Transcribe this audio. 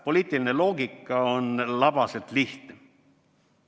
Poliitiline loogika on labaselt lihtne.